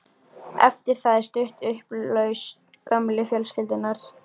Eftir það er stutt í upplausn gömlu fjölskyldunnar.